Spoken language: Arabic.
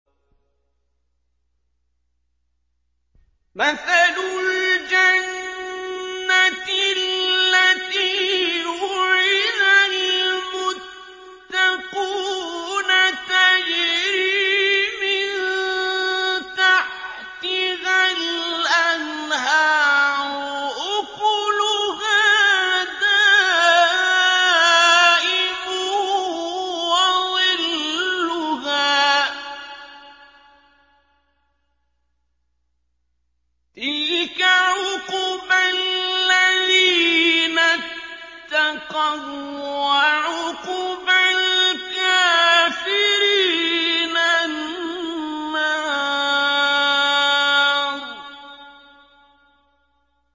۞ مَّثَلُ الْجَنَّةِ الَّتِي وُعِدَ الْمُتَّقُونَ ۖ تَجْرِي مِن تَحْتِهَا الْأَنْهَارُ ۖ أُكُلُهَا دَائِمٌ وَظِلُّهَا ۚ تِلْكَ عُقْبَى الَّذِينَ اتَّقَوا ۖ وَّعُقْبَى الْكَافِرِينَ النَّارُ